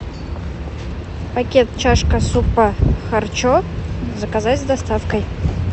пакет чашка супа харчо заказать с доставкой